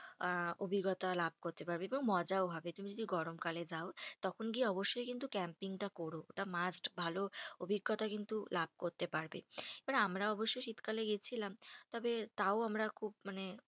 আহ অভিজ্ঞতা লাভ করতে পারবে। এবং মজাও হবে তুমি যদি গরমকালে যাও তখন গিয়ে অবশ্যই কিন্তু camping টা কোরো। এটা must ভালো অভিজ্ঞতা কিন্তু লাভ করতে পারবে। এবার আমরা অবশ্য শীতকালে গেছিলাম। তবে তাও আমরা খুব মানে